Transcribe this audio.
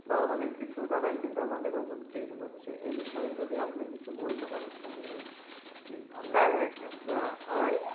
বা অনেক কিছু দাঁড়াই আমাদের আমার আবৃত্তি হচ্ছে এই বিষয়ে যদি আপনি কিছু বলতে পারেন তাহলে আর কি ভাল হয় হ্যাঁ হ্যাঁ